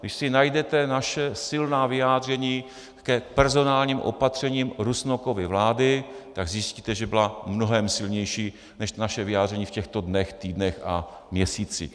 Když si najdete naše silná vyjádření k personálním opatřením Rusnokovy vlády, tak zjistíte, že byla mnohem silnější než naše vyjádření v těchto dnech, týdnech a měsících.